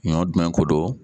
Ɲɔ dun ko don